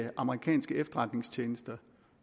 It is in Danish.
at amerikanske efterretningstjenester